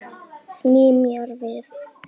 Sný mér við.